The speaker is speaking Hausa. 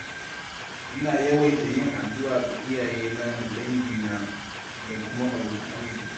Ina yawaita yin addu’a ga iyayena da dangina da kuma abokan arziƙi.